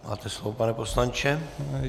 Máte slovo, pane poslanče.